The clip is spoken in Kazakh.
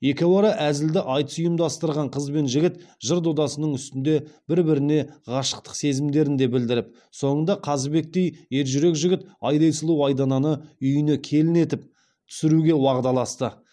екеуара әзілді айтыс ұйымдастырған қыз бен жігіт жыр додасының үстінде бір біріне ғашықтық сезімдерін де білдіріп соңында қазыбектей ержүрек жігіт айдай сұлу айдананы үйіне келін етіп түсіруге уағдаласты